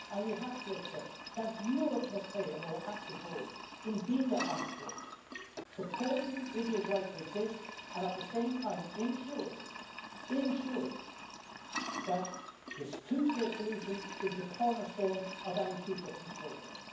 And we have to accept that Europe must play a more active role in being that honest broker, supporting Israel's right to exist and, at the same time, ensuring that the two-state solution is the cornerstone of any future peace process.